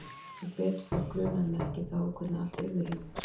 Sem betur fór grunaði mig ekki þá hvernig allt yrði hjá mér.